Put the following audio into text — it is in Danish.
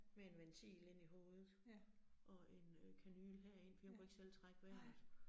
Med en ventil inde i hovedet, og en øh kanyle herind fordi hun kunne ikke selv trække vejret